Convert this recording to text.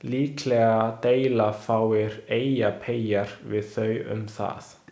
Líklega deila fáir Eyjapeyjar við þau um það.